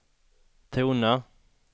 tona